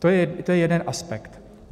To je jeden aspekt.